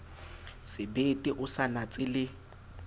sebete o sa natse le